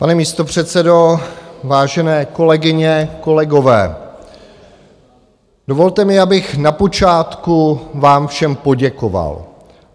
Pane místopředsedo, vážené kolegyně, kolegové, dovolte mi, abych na počátku vám všem poděkoval.